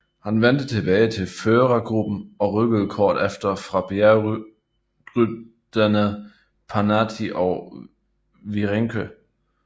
Han vendte tilbage til førergruppen og rykkede kort efter fra bjergrytterne Pantani og Virenque